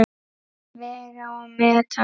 Vega og meta.